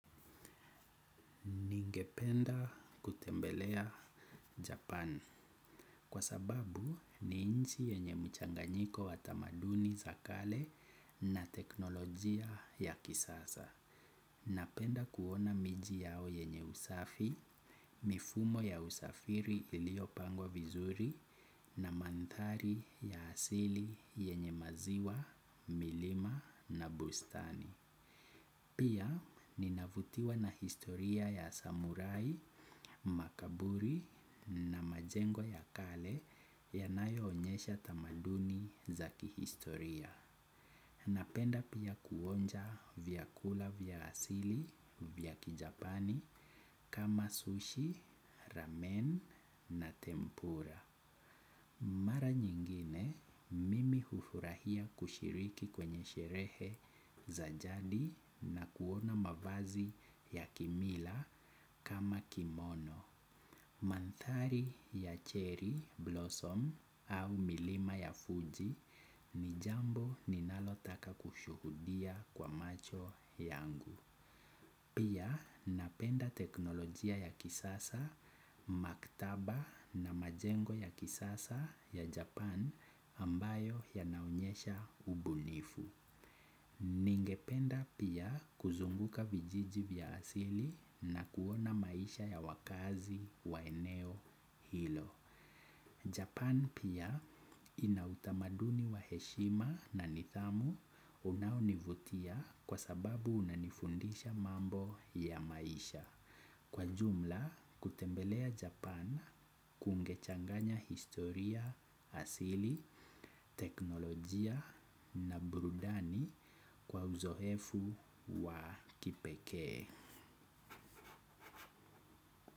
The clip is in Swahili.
Ningependa kutembelea Japan kwa sababu ni inchi yenye mchanganyiko watamaduni za kale na teknolojia ya kisasa. Napenda kuona miji yao yenye usafi, mifumo ya usafiri ilio pangwa vizuri na mandhari ya asili yenye maziwa, milima na bustani. Pia ninavutiwa na historia ya samurai, makaburi na majengo ya kale yanayo onyesha tamaduni za kihistoria. Napenda pia kuonja vyakula vya asili vyaki japani kama sushi, ramen na tempura. Mara nyingine mimi hufurahia kushiriki kwenye sherehe za jadi na kuona mavazi ya kimila kama kimono. Mandhari ya cherry blossom au milima ya Fuji ni jambo ninalo taka kushuhudia kwa macho yangu. Pia napenda teknolojia ya kisasa, maktaba na majengo ya kisasa ya Japan ambayo yanaonyesha ubunifu. Ningependa pia kuzunguka vijiji vya asili na kuona maisha ya wakaazi wa eneo hilo. Japan pia ina utamaduni wa heshima na nidhamu unao nivutia kwa sababu unanifundisha mambo ya maisha. Kwa jumla, kutembelea Japan kungechanganya historia, asili, teknolojia na burudani kwa uzoefu wa kipekee.